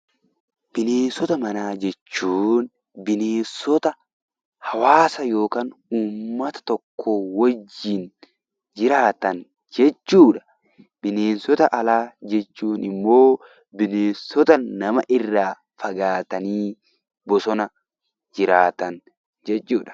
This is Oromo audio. Bineensota manaa jechuun bineensota hawaasa yookaan uummata tokko wajjin jiraatan jechuudha. Bineensota alaa jechuun immoo bineensota nama irraa fagaatanii bosona keessa jiraatan jechuudha.